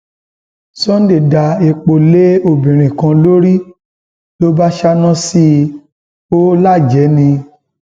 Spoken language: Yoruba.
sunday da epo lé obìnrin kan lórí ló bá ṣáná sí i ò lájẹẹ ni